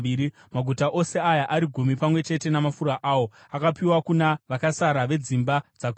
Maguta ose aya ari gumi pamwe chete namafuro aro akapiwa kuna vakasara vedzimba dzaKohati.